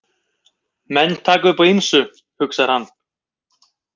Menn taka upp á ýmsu, hugsar hann.